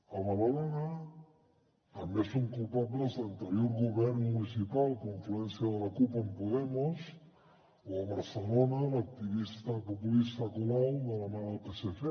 a badalona també són culpables l’anterior govern municipal confluència de la cup amb podemos o a barcelona l’activista populista colau de la mà del psc